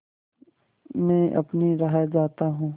मैं अपनी राह जाता हूँ